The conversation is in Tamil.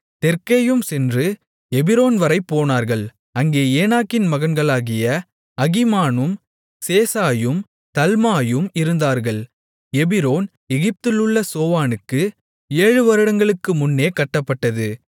தெற்கேயும் சென்று எபிரோன்வரை போனார்கள் அங்கே ஏனாக்கின் மகன்களாகிய அகீமானும் சேசாயும் தல்மாயும் இருந்தார்கள் எபிரோன் எகிப்திலுள்ள சோவானுக்கு ஏழுவருடங்களுக்குமுன்னே கட்டப்பட்டது